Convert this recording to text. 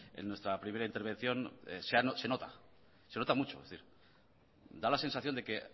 en nuestra primera intervención se nota se nota mucho es decir da la sensación de que